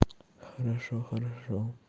хорошо хорошо